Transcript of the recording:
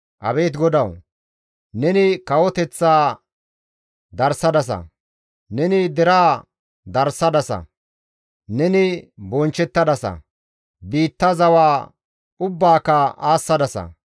Abeet GODAWU! Neni kawoteththaa darsadasa; Neni deraa darsadasa. Neni bonchchettadasa; biittaa zawa ubbaaka aassadasa.